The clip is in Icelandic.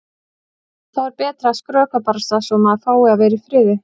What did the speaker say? Þá er betra að skrökva barasta svo að maður fái að vera í friði.